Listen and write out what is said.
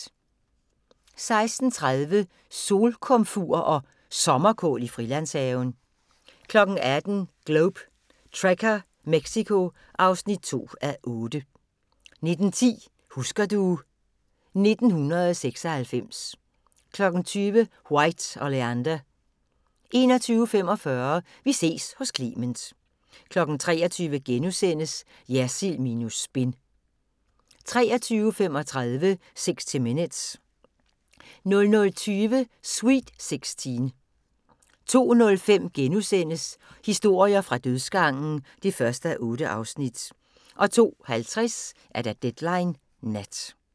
16:30: Solkomfur og Sommerkål i Frilandshaven 18:00: Globe Trekker - Mexico (2:8) 19:10: Husker du ... 1996 20:00: White Oleander 21:45: Vi ses hos Clement 23:00: Jersild minus spin * 23:35: 60 Minutes 00:20: Sweet Sixteen 02:05: Historier fra dødsgangen (1:8)* 02:50: Deadline Nat